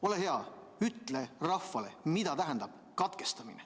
Ole hea, ütle rahvale, mida tähendab katkestamine.